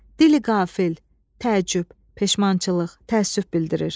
Dili qafil, təəccüb, peşmançılıq, təəssüf bildirir.